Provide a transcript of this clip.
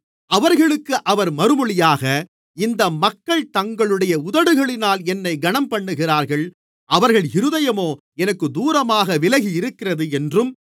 அவர்களுக்கு அவர் மறுமொழியாக இந்த மக்கள் தங்களுடைய உதடுகளினால் என்னை கனம்பண்ணுகிறார்கள் அவர்கள் இருதயமோ எனக்குத் தூரமாக விலகியிருக்கிறது என்றும்